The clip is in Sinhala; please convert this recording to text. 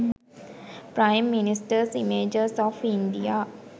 prime ministers images of india